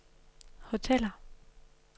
hoteller